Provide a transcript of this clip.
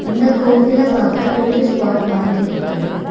இந்த கோவில பாக்க டூரிஸ்ட் ஸ்பாட் மாதிரி இருக்கு.